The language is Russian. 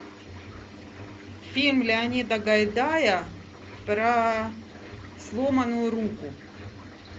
фильм леонида гайдая про сломанную руку